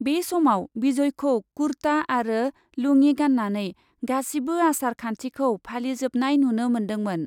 बे समाव बिजयखौ खुर्ता आरो लुङि गान्नानै गासिबो आसार खान्थिखौ फालिजोबनाय नुनो मोन्दोंमोन।